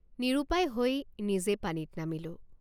নিৰুপায় হৈ নিজেই পানীত নামিলো।